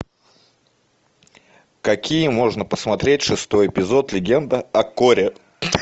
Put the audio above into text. какие можно посмотреть шестой эпизод легенда о корре